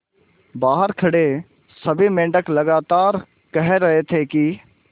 बहार खड़े सभी मेंढक लगातार कह रहे थे कि